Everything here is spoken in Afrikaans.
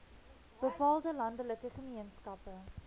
bepaalde landelike gemeenskappe